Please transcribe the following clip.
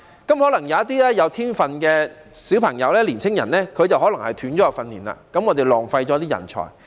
因此，一些具天分的小朋友或年青人可能會中斷訓練，這樣便浪費人才。